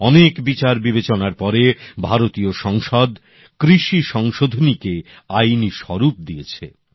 অনেক বিচার বিবেচনার পরে ভারতীয় সংসদ কৃষি সংশোধনীকে আইনি স্বরূপ দিয়েছে